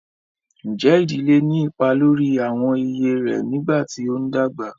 Ǹjẹ́ ìdílé ní ipa lórí àwọn iyè rẹ nígbà tí ó ń dàgbà?